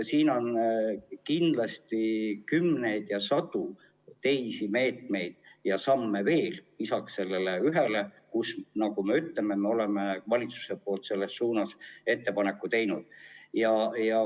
Siin on kümneid ja sadu teisi meetmeid ja samme veel lisaks sellele ühele, kusjuures, nagu ma ütlesin, me oleme valitsuses ka selles suunas oma ettepaneku teinud.